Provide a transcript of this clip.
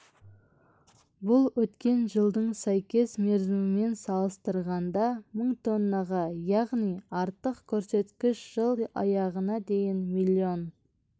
бұл өткен жылдың сәйкес мерзімімен салыстырғанда мың тоннаға яғни артық көрсеткіш жыл аяғына дейін миллион